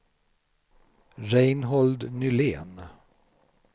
Reinhold Nylén